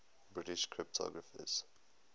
british cryptographers